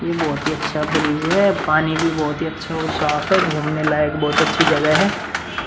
ये बहुत ही अच्छा ब्रिज है। पानी भी बहुत ही अच्छा और साफ है। घूमने लायक बहुत अच्छी जगह है।